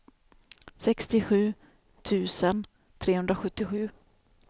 sextiosju tusen trehundrasjuttio